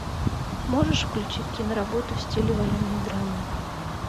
можешь включить киноработу в стиле военной драмы